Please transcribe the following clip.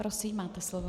Prosím, máte slovo.